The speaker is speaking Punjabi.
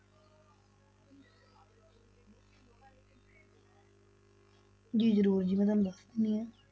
ਜੀ ਜ਼ਰੂਰ ਜੀ ਮੈਂ ਤੁਹਾਨੂੰ ਦੱਸ ਦਿੰਦੀ ਹਾਂ।